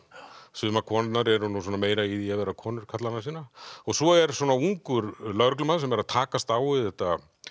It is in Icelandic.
sumar konurnar eru nú meira í því að vera konur karlanna sinna svo er ungur lögreglumaður sem er að takast á við þetta